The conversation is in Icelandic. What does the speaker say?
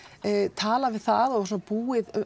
talað við það og búið